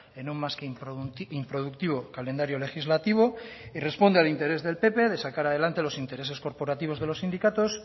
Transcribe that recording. en un más que improductivo calendario legislativo y responde al interés del pp de sacar adelante los intereses corporativos de los sindicatos